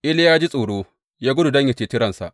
Iliya ya ji tsoro, ya gudu don yă ceci ransa.